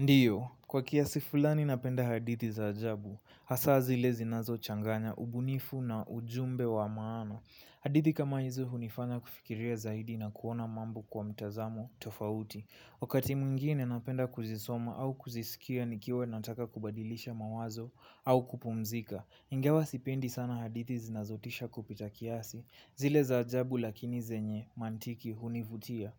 Ndio, kwa kiasi fulani napenda hadithi za ajabu, hasa zile zinazochanganya ubunifu na ujumbe wa maana. Hadithi kama hizo hunifanya kufikiria zaidi na kuona mambo kwa mtazamo tofauti. Wakati mwingine napenda kuzisoma au kuzisikia nikiwa nataka kubadilisha mawazo au kupumzika. Ingawa sipendi sana hadithi zinazotisha kupita kiasi, zile za ajabu lakini zenye mantiki hunivutia.